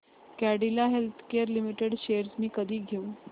Cadila healthcare limited shares मी कधी घेऊ